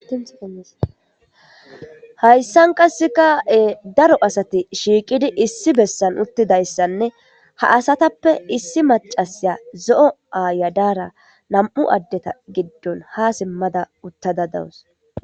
Hayssan qassekae daro asati shiiqidi issi bessan uttida issanne ha asatappe issi macasiya zo'o aaya daara nam'u addeta giddon ha simmada uttada dawus.